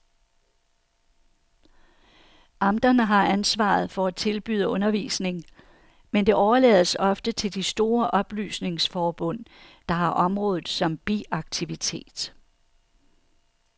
Amterne har ansvaret for at tilbyde undervisning, men det overlades ofte til de store oplysningsforbund, der har området som biaktivitet.